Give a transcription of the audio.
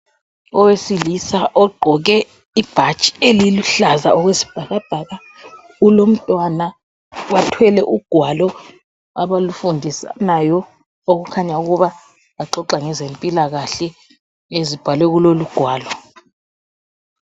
Owesilisa ogqoke ibhatshi eliluhlaza okwesibhakabhaka. Ulomntwana, bathwele ugwalo abalufundisanayo okukhanya ukuba baxoxa ngezempilakahle ezibhalwe kulolugwalo.